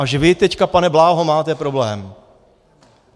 Až vy, teď, pane Bláho, máte problém.